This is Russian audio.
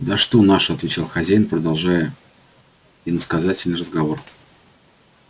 да что наши отвечал хозяин продолжая иносказательный разговор